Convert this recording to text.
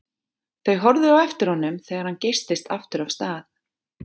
Þau horfðu á eftir honum þegar hann geystist aftur af stað.